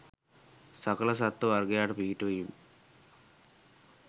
සකල සත්ව වර්ගයාට පිහිටවීම්